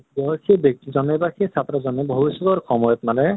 কি হয় সেই ব্য়ক্তি জনে বা সেই ছাত্ৰ জনে ভাবিষ্য়ৎৰ সময়ত মানে